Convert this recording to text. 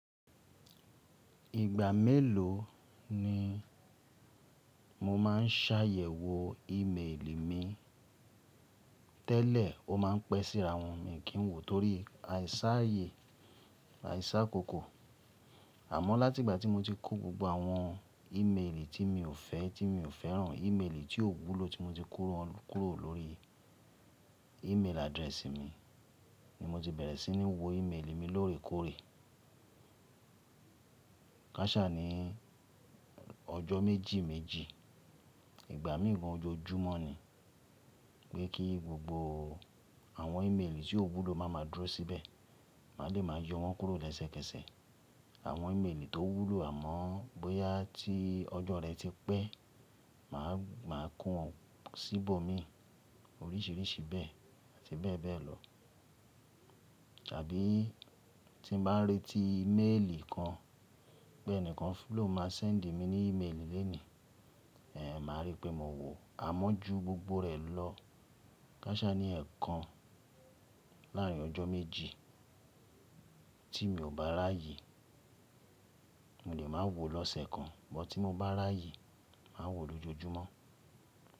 Ìgbà mélòó ni mo máa ń ṣàyẹ̀wò ìméèlì mi? Tẹ́lẹ̀, ó máa ń pẹ́ síra wọ́n, mi kì í wo torí àìṣàyẹ̀, àìṣàkókò. Àmọ́, láti ìgbà tí mo ti kó gbogbo àwọn ìméèlì tí mi ò fẹ́, tí mi ò fẹ́ràn, ìméèlì tí ò wúlò tí mo ti kó wọ́n kúrò lórí ìméèlì address mi ni mo ti bẹ̀rẹ̀ sí ní wo ìméèlì mi lóòrèkóòrè. Káṣá ní ọjọ́ méjì méjì, ìgbà mìí gan ojoojúmọ́ ni. Pé kí gbogbo àwọn ìméèlì tí ò wúlò má máa dúró síbẹ̀, mà le máa yọ wọ́n kúrò lẹ́sẹ̀kẹsẹ̀. Àwọn ìméèlì tó wúlò àmọ́ bóyá tí ọjọ́ rẹ ti pẹ́, mà á ko wọn síbò mi oríṣìíríṣìí bẹ́ẹ̀ àti bẹ́ẹ̀ bẹ́ẹ̀ lọ. Tàbí tí n bá n retí méèlì kan pé ẹnìkan fílò máa sẹ́ǹdì mi ní ìméèlì lónìí, èéh, màá rí pé mo wò ó àmọ́ ju gbogbo rẹ̀ lọ. Káṣá ní ẹ̀ẹ̀kan láàrin ọjọ́ méjì tí mi ò bá ráà ye, mo lè máa wo lọ́sẹ̀ kan, bọ́ tí mo bá ráà ye, màá wo lójoojúmọ́.